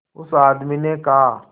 उस आदमी ने कहा